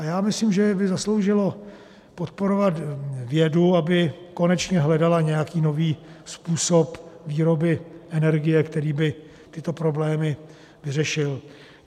A já myslím, že by zasloužilo podporovat vědu, aby konečně hledala nějaký nový způsob výroby energie, který by tyto problémy vyřešil.